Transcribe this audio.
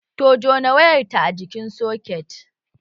Ta jona wayarta a jikin soket